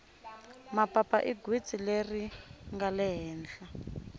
mapapa i gwitsi leri ringale hehla